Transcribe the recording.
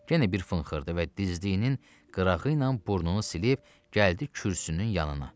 Yenə bir fınxırdı və dizliyinin qırağı ilə burnunu silib gəldi kürsünün yanına.